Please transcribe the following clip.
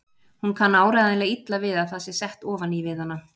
Hún kann áreiðanlega illa við að það sé sett ofan í við hana.